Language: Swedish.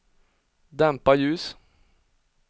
dämpa ljus